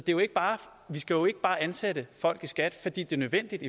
jo ikke bare ansætte folk i skat fordi det er nødvendigt